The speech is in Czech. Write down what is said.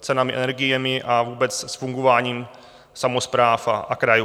cenami energií a vůbec s fungováním samospráv a krajů.